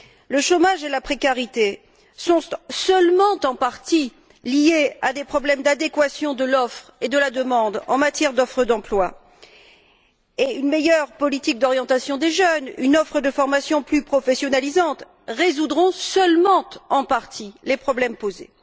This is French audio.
Le chômage et la précarité sont, en partie seulement, liés à des problèmes d'adéquation de l'offre et de la demande, en matière d'offre d'emplois, et une meilleure politique d'orientation des jeunes, une offre de formations plus professionnalisantes résoudront, en partie seulement, les problèmes posés.